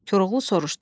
Koroğlu soruştu: